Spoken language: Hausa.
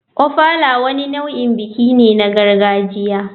Ofala wani nau'in biki ne na gargajiya.